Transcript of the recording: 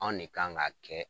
Anw ne kan ka kɛ